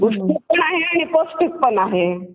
पण आहे आणि पौष्टिक पण आहे.